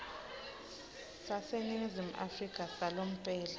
saseningizimu afrika salomphelo